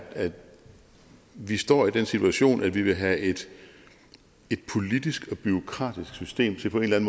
vi står i den situation at vi vil have et politisk og bureaukratisk system til på en